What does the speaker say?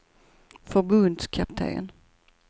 förbundskapten